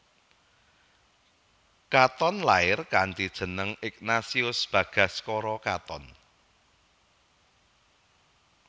Katon lair kanthi jeneng Ignatius Bagaskoro Katon